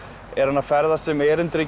er hann að ferðast sem erindreki